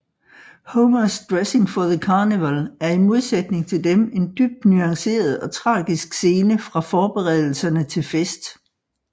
Homers Dressing for the Carnival er i modsætning til dem en dybt nuanceret og tragisk scene fra forberedelserne til fest